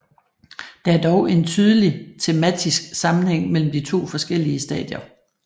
Der er dog en tydelig tematisk sammenhæng mellem de forskellige stadier